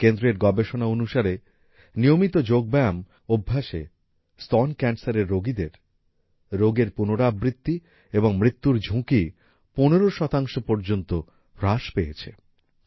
এই কেন্দ্রের গবেষণা অনুসারে নিয়মিত যোগব্যায়াম অভ্যাসে স্তন ক্যান্সারের রোগীদের রোগের পুনরাবৃত্তি এবং মৃত্যুর ঝুঁকি ১৫ শতাংশ পর্যন্ত হ্রাস পেয়েছে